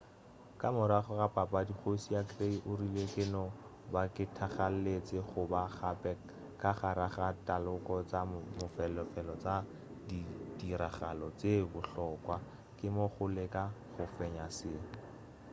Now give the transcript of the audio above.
ka morago ga papadi kgoši ya clay o rile ke no ba ke thakgaletši go ba gape ka gare ga taloko tša mafelelo tša dirtiragalo tše bohlokwa ke mo go leka go fenya se